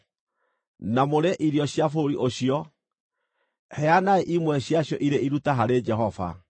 na mũrĩe irio cia bũrũri ũcio, heanai imwe ciacio irĩ iruta harĩ Jehova.